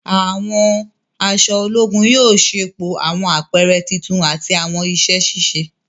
Àwọn aṣọ ológùn yóò ṣepọ awọn apẹrẹ títún ati awọn iṣẹ ṣiṣe.